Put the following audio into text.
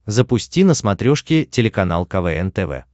запусти на смотрешке телеканал квн тв